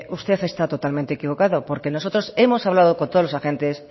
usted está totalmente equivocado porque nosotros hemos hablado con todos los agentes